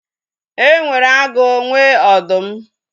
E nwere agụ nwe ọdụm